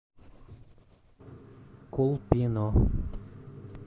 колпино